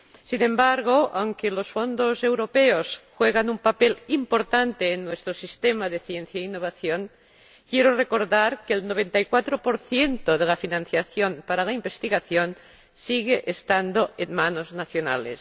Sin embargo, aunque los fondos europeos juegan un papel importante en nuestro sistema de ciencia e innovación, quiero recordar que el 94 de la financiación para la investigación sigue estando en manos nacionales.